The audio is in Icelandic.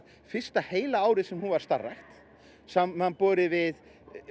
fyrsta heila árið sem hún starfar samanborið við